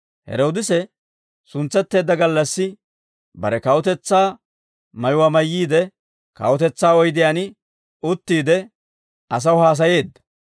Heroodise suntsetteedda gallassi, bare kawutetsaa mayuwaa mayyiide, kawutetsaa oydiyaan uttiide, asaw haasayeedda.